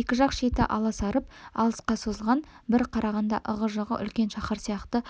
екі жақ шеті аласарып алысқа созылған бір қарағанда ығы-жығы үлкен шаһар сияқты